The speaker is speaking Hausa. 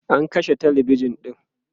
an kashe talabijan ɗin